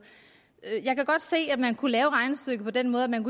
jeg kan godt se at man kunne lave regnestykket på den måde at man